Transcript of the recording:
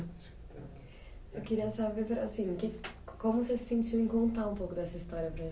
Eu queria saber, assim, que como você se sentiu em contar um pouco dessa história para